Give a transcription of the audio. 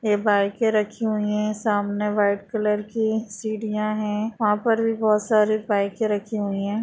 यह बाइके रखी हुई है सामने वाइट कलर की सीढ़ियां है वहां पर भी बहुत सारी बाइके रखी हुई है।